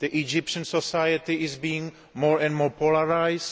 Egyptian society is being more and more polarised